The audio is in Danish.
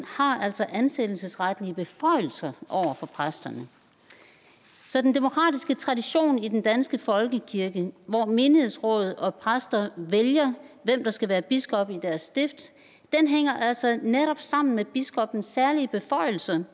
har altså ansættelsesretlige beføjelser over for præsterne så den demokratiske tradition i den danske folkekirke hvor menighedsråd og præster vælger hvem der skal være biskop i deres stift hænger altså netop sammen med biskoppens særlige beføjelser